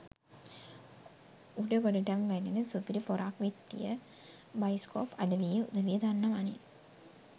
උඩ ගොඩටම වැඩෙන සුපිරි පොරක් විත්තිය බයිස්කෝප් අඩවියේ උදවිය දන්නවනේ